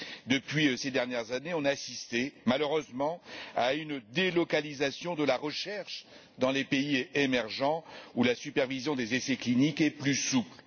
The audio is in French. Depuis ces dernières années, on a assisté, malheureusement, à une délocalisation de la recherche dans les pays émergents, où la supervision des essais cliniques est plus souple.